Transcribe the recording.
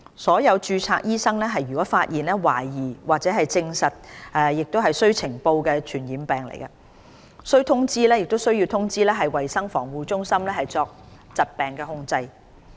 所有註冊醫生若發現懷疑或證實屬須呈報的傳染病，均須通知衞生防護中心以作疾病控制。